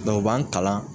u b'an kalan